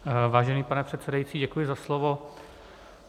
Vážený pane předsedající, děkuji za slovo.